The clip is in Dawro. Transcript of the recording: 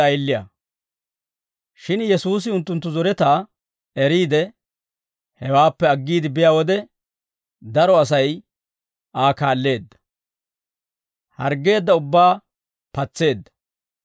Shin Yesuusi unttunttu zoretaa eriide, hewaappe aggiide biyaa wode, daro Asay Aa kaalleedda; harggeedda ubbaa patseedda.